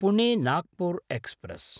Pune Nagpur express